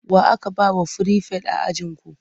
Wa aka ba wa firifet a ajinku?